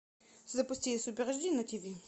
запусти супер аш ди на тиви